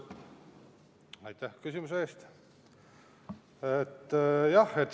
Aitäh küsimuse eest!